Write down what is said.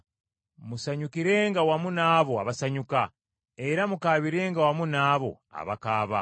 Musanyukirenga wamu n’abo abasanyuka, era mukaabirenga wamu n’abo abakaaba.